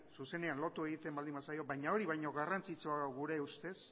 zuzenean lotu egiten baldin bazaio baina hori baino garrantzitsuagoa da gure ustez